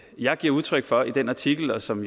jeg giver udtryk for i den artikel og som